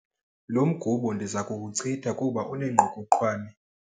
Lo mgubo ndiza kuwuchitha kuba unengqokoqwane.